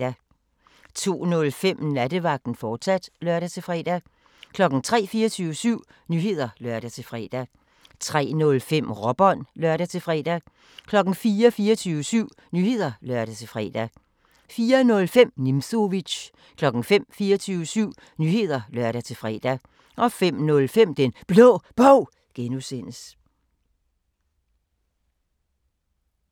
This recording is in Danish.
02:05: Nattevagten, fortsat (lør-fre) 03:00: 24syv Nyheder (lør-fre) 03:05: Råbånd (lør-fre) 04:00: 24syv Nyheder (lør-fre) 04:05: Nimzowitsch 05:00: 24syv Nyheder (lør-fre) 05:05: Den Blå Bog (G)